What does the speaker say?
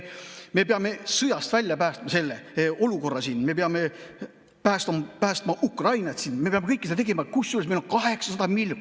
Me peame sõjast välja päästma selle olukorra, me peame päästma Ukrainat, me peame kõike seda tegema, kusjuures meil on 800 miljonit.